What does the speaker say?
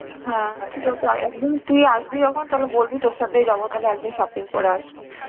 হ্যাঁ ঠিক তা একদম তুই আসবি যখন তালে বলবি তোর সাথেই যাব তালে একদিন shopping করে আসবো.